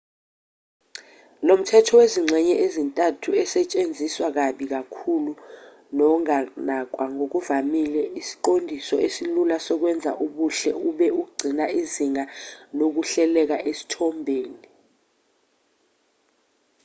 lomthetho wezingxenye ezintathu esetshenziswa kabi kakhulu nonganakwa ngokuvamile isiqondiso esilula sokwenza ubuhle ube ugcina izinga lokuhleleka esithombeni